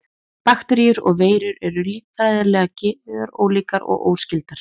Bakteríur og veirur eru líffræðilega gjörólíkar og óskyldar.